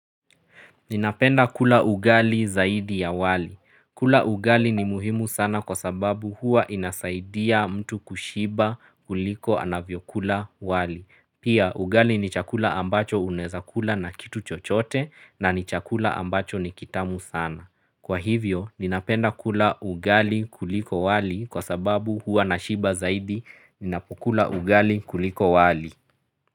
Ninapenda kula ugali zaidi ya wali. Kula ugali ni muhimu sana kwa sababu huwa inasaidia mtu kushiba kuliko anavyokula wali. Pia ugali ni chakula ambacho unaeza kula na kitu chochote na ni chakula ambacho ni kitamu sana. Kwa hivyo, ninapenda kula ugali kuliko wali kwa sababu huwa nashiba zaidi ninapokula ugali kuliko wali.